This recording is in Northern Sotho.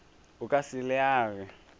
o ka se le age